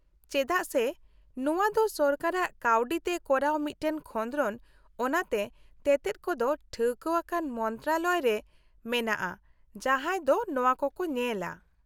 -ᱪᱮᱫᱟᱜ ᱥᱮ ᱱᱚᱣᱟ ᱫᱚ ᱥᱚᱨᱠᱟᱨᱟᱜ ᱠᱟᱹᱣᱰᱤᱛᱮ ᱠᱚᱨᱟᱣ ᱢᱤᱫᱴᱟᱝ ᱠᱷᱚᱸᱫᱨᱚᱱ, ᱚᱱᱟᱛᱮ ᱛᱮᱛᱮᱫ ᱠᱚᱫᱚ ᱴᱷᱟᱹᱣᱠᱟᱹᱣᱟᱱ ᱢᱚᱱᱛᱨᱚᱱᱟᱞᱚᱭ ᱨᱮ ᱢᱮᱱᱟᱜᱼᱟ ᱡᱟᱦᱟᱸᱭ ᱫᱚ ᱱᱚᱣᱟ ᱠᱚᱠᱚ ᱧᱮᱞᱟ ᱾